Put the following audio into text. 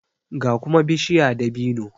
ga kuma bishiya dabino